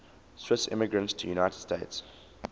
swiss immigrants to the united states